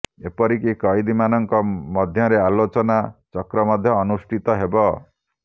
ଏପରିକି କଏଦୀମାନଙ୍କ ମଧ୍ୟରେ ଆଲୋଚନା ଚକ୍ର ମଧ୍ୟ ଅନୁଷ୍ଠିତ ହେବ